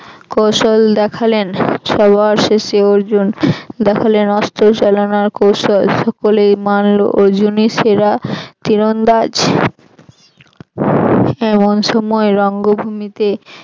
কৌশল দেখালেন সবার শেষে অর্জুন দেখালেন অস্ত্র চালনার কৌশল সকলেই মানল অর্জুনই সেরা তীরন্দাজ এমন সময় রঙ্গভূমিতে